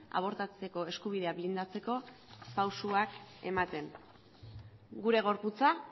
abortatzeko eskubidea blindatzeko pausuak ematen gure gorputza